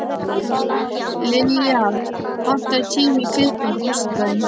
Liljar, pantaðu tíma í klippingu á föstudaginn.